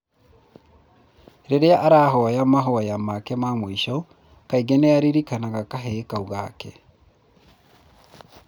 Rĩrĩa arahoya mavoya make ma mũico, kaingĩ nĩ aririkanaga kahĩĩ kau gake.